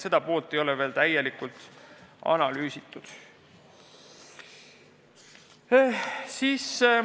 Seda poolt ei ole veel korralikult analüüsitud.